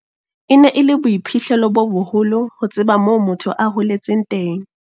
E ne e le boiphihlelo bo boholo ho tseba moo motho a holetseng teng.